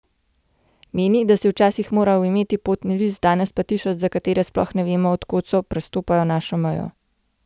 Meni, da si včasih moral imeti potni list, danes pa tisoči, za katere sploh ne vemo, od kod so, prestopajo našo mejo.